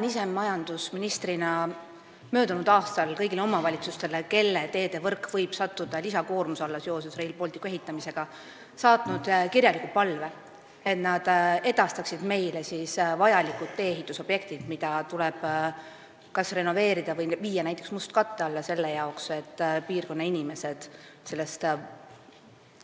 Ma saatsin majandusministrina möödunud aastal kõigile omavalitsustele, kelle teedevõrk võib seoses Rail Balticu ehitamisega lisakoormuse alla sattuda, kirjaliku palve, et nad annaksid meile teada teedest, mis tuleks kas renoveerida või näiteks viia mustkatte alla, et kohalikud inimesed selle